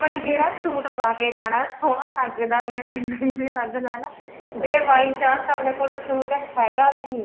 ਵੀ ਆਪਾਂ ਨੇ ਜਿਹੜਾ suit ਪਾਕੇ ਜਾਣਾ ਸੋਹਣਾ ਲੱਗਦਾ ਵੀ ਐ ਜਾ ਨਹੀਂ ਵੀ ਲੱਗਦਾ ਹਨਾ ਜੇ by chance ਆਪਣੇ ਕੋਲ suit ਹੈਗਾ ਵੀ ਨੀ